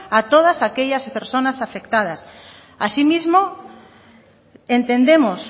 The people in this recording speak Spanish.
a todas aquellas personas afectadas asimismo entendemos